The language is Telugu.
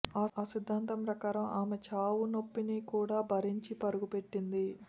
ఆ సిద్దాంతం ప్రకారం ఆమె చావు నొప్పిని కూడా భరించి పరుగు పెట్టింది